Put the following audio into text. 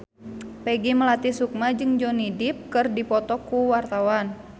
Peggy Melati Sukma jeung Johnny Depp keur dipoto ku wartawan